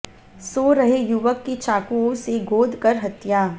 सो रहे युवक की चाकुओं से गोद कर हत्या